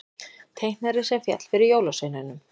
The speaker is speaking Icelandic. Teiknarinn sem féll fyrir jólasveinunum